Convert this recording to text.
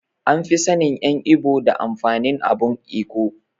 An fi sannin en ibo da amfanin abun Ekwe.